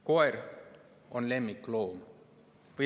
Koer on lemmikloom.